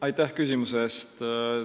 Aitäh küsimuse eest!